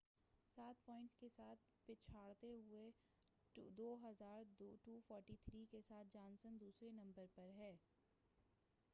سات پوائنٹس کے ساتھ پچھڑتے ہوئے، 2،243 کے ساتھ جانسن دوسرے نمبر پر ہے۔